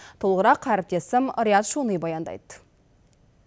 толығырақ әріптесім риат шони баяндайды